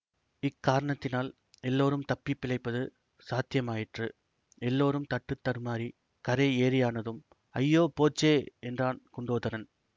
இக்காரணத்தினால் எல்லாரும் தப்பி பிழைப்பது சாத்தியமாயிற்று எல்லாரும் தட்டுத்தடுமாறிக் கரை ஏறியானதும் ஐயோ போச்சே என்றான் குண்டோதரன்